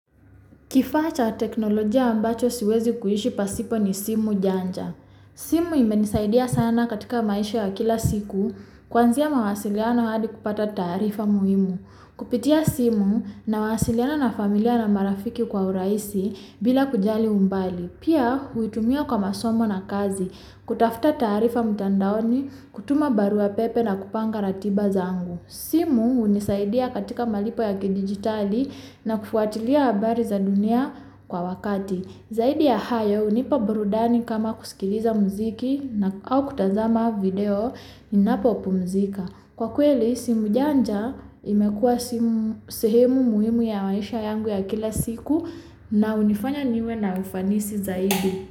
Kifacha teknologia ambacho siwezi kuishi pasipo ni simu janja. Simu imenisaidiya sana katika maisho ya kila siku, kuwanzia mawasiliyana wadi kupata tarifa muimu. Kupitia simu na wasiliana na familia na marafiki kwa uraisi bila kujali umbali, pia witumio kama somo na kazi, kutafuta tarifa mutandaoni, kutuma barua pepe na kupanga ratiba zangu. Simu unisaidiya katika malipo ya kidijitali na kufuatili ya bari zadunia kwa wakati. Zaidi ya hayo unipa burudani kama kuskiliza muziki na aukutazama video inapopo muzika. Kwa kuweli, simu janja ime kwa sihemu muimu ya maisha yangu ya kila siku na unifanya niwe na ufanisi zaidi.